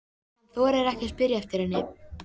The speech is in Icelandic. Hann þorir ekki að spyrja eftir henni.